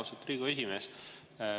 Austatud Riigikogu esimees!